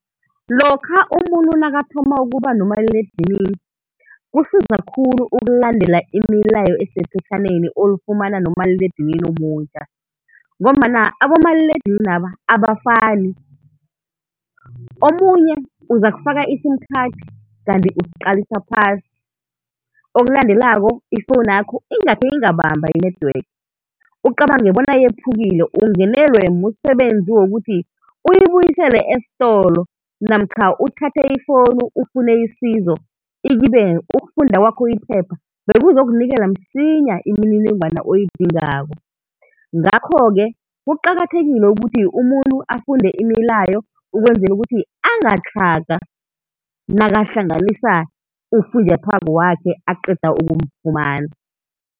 Lokha umuntu nakathoma ukuba nomaliledinini kusiza khulu ukulandela imilayo esephetjhaneni olifumana nomaliledini omutjha, ngombana abomaliledininaba abafani, omunye uzakufaka i-sim card kanti usiqalisa phasi, ifowunu okulandelako yakho ingakhe ingabamba i-network ucabange ukuthi yephukile ungenelwe msebenzi wokuthi uyibuyisele esitolo namkha uthathe ifowunu ufune isizo ikibe ukufunda kwakho iphepha bekuzokunikela msinya imininingwana oyidingako. Ngakho-ke kuqakathekile ukuthi umuntu afunde imilayo ukwenzela ukuthi angatlhaga nakahlanganisa ufunjathwako wakhe aqeda ukumfumana.